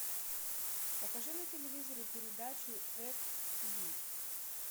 покажи на телевизоре передачу эк тиви